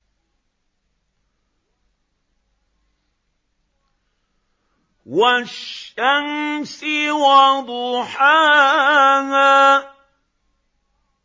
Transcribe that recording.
وَالشَّمْسِ وَضُحَاهَا